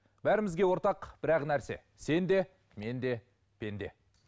бәрімізге ортақ бір ақ нәрсе сен де мен де пенде